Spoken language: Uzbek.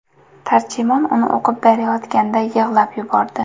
Tarjimon uni o‘qib berayotganda yig‘lab yubordi.